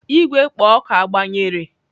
Igwe kpo oku agbanyere?